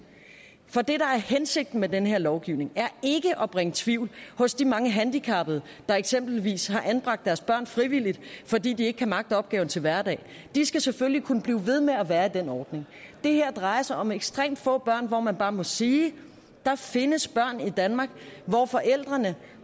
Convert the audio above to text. for det der er hensigten med den her lovgivning er ikke at bringe tvivl hos de mange handicappede der eksempelvis har anbragt deres børn frivilligt fordi de ikke kan magte opgaven til hverdag og de skal selvfølgelig kunne blive ved med at være i den ordning det her drejer sig om ekstremt få børn hvor man bare må sige der findes børn i danmark hvor forældrene